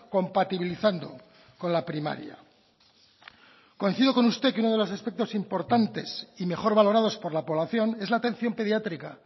compatibilizando con la primaria coincido con usted que uno de los aspectos importantes y mejor valorados por la población es la atención pediátrica